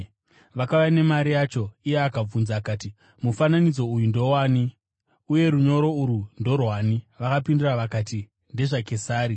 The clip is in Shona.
Vakauya nemari yacho, iye akavabvunza akati, “Mufananidzo uyu ndowani? Uye runyoro urwu ndorwani?” Vakapindura vakati, “NdezvaKesari.”